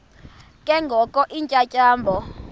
ke ngoko iintyatyambo